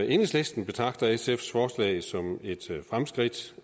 enhedslisten betragter sfs forslag som et fremskridt